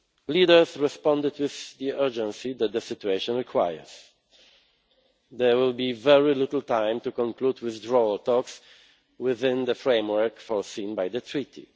Leaders responded with the urgency that the situation requires. There will be very little time to conclude withdrawal talks within the framework foreseen by the Treaty.